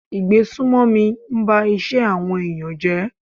Ìgbésùmọ̀mí ń ba iṣẹ́ àwọn ẹ̀yàn jẹ́.